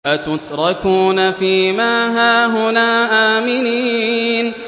أَتُتْرَكُونَ فِي مَا هَاهُنَا آمِنِينَ